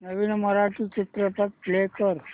नवीन मराठी चित्रपट प्ले कर